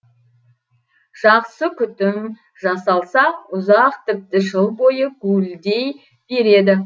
жақсы күтім жасалса ұзақ тіпті жыл бойы гуілдей береді